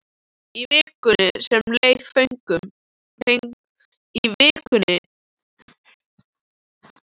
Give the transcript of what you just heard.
Í vikunni sem leið fengum við síma.